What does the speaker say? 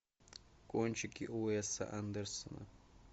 кончики уэса андерсона